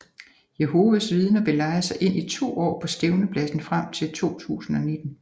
Jehovas vidner vil leje sig ind i 2 år på Stævnepladsen frem til 2019